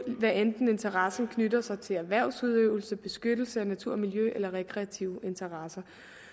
hvad enten interessen knytter sig til erhvervsudøvelse beskyttelse af natur og miljø eller rekreative interesser